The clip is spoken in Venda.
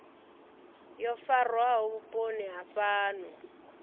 yo farwaho vhuponi ha fhano